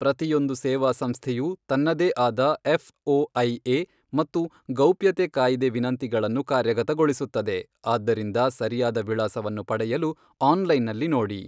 ಪ್ರತಿಯೊಂದು ಸೇವಾಸಂಸ್ಥೆಯು ತನ್ನದೇ ಆದ ಎಫ್ಓಐಎ ಮತ್ತು ಗೌಪ್ಯತೆ ಕಾಯಿದೆ ವಿನಂತಿಗಳನ್ನು ಕಾರ್ಯಗತಗೊಳಿಸುತ್ತದೆ, ಆದ್ದರಿಂದ ಸರಿಯಾದ ವಿಳಾಸವನ್ನು ಪಡೆಯಲು ಆನ್ಲೈನ್ನಲ್ಲಿ ನೋಡಿ.